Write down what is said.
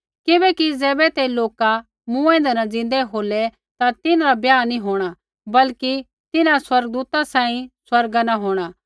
किबैकि ज़ैबै ते लोका मूँऐंदै न ज़िन्दै होलै ता तिन्हरा ब्याह नी होंणा बल्कि तिन्हां स्वर्गदूता सांही स्वर्गा न होंणा